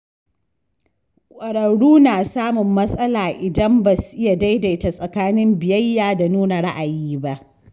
Ƙwararru na samun matsala idan ba su iya daidaita tsakanin biyayya da nuna ra’ayi ba.